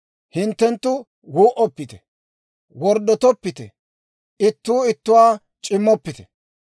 « ‹Hintte wuu"oppite. « ‹Worddotoppite. « ‹Ittuu ittuwaa c'immoppite.